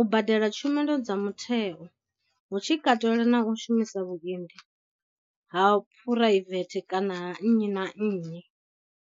u badela tshumelo dza mutheo hu tshi katelwa na u shumisa vhuendi ha phuraivethe kana ha nnyi na nnyi.